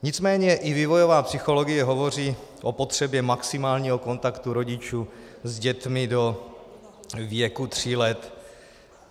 Nicméně i vývojová psychologie hovoří o potřebě maximálního kontaktu rodičů s dětmi do věku tří let.